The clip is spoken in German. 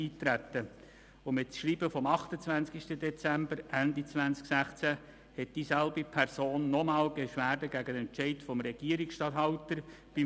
Mit Schreiben vom 28.12.2016 reichte dieselbe Person beim Verwaltungsgericht des Kantons Bern Beschwerde gegen den Entscheid des Regierungsstatthalters ein.